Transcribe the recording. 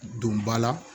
Donba la